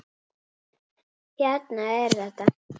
Hérna er þetta!